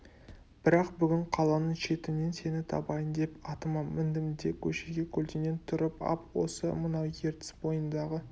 бірақ бүгін қаланың шетінен сені табайын деп атыма міндім де көшеге көлденең тұрып ап осы мынау ертіс бойындағы